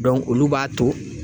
olu b'a to